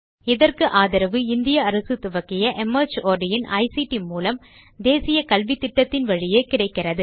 இதற்கு ஆதரவு இந்திய அரசு துவக்கிய மார்ட் இன் ஐசிடி மூலம் தேசிய கல்வித்திட்டத்தின் வழியே கிடைக்கிறது